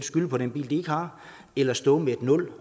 skylde på den bil de ikke har eller at stå med nul